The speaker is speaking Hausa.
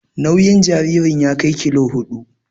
Nauyin jaririn ya kai kilo huɗu.